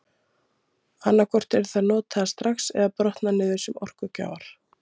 Annað hvort eru þær notaðar strax eða brotna niður sem orkugjafar.